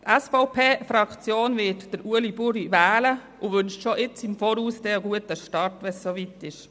Die SVP-Fraktion wird Ueli Buri wählen und wünscht schon im Voraus einen guten Start, wenn es dann soweit ist.